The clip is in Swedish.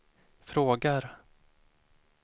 frågar